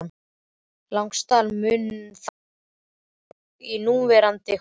Landslag mun þá hafa færst mjög í núverandi horf.